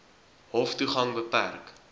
hof toegang beperk